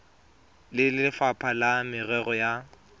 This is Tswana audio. le lefapha la merero ya